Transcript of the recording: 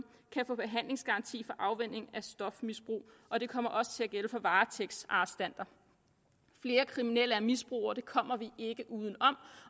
kan få behandlingsgaranti for afvænning af stofmisbrug og det kommer også til at gælde for varetægtsarrestanter flere kriminelle er misbrugere det kommer vi ikke uden om